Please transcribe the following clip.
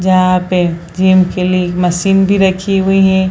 जहां पे जीम के लिए मशीन भी रखी हुई है।